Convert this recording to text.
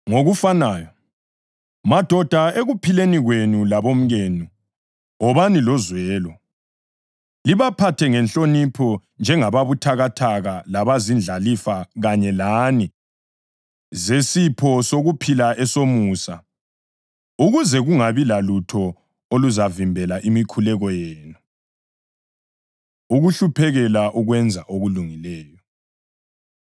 Ngokufanayo, madoda ekuphileni kwenu labomkenu wobani lozwelo, libaphathe ngenhlonipho njengababuthakathaka labazindlalifa kanye lani zesipho sokuphila esomusa, ukuze kungabi lalutho oluzavimbela imikhuleko yenu. Ukuhluphekela Ukwenza Okulungileyo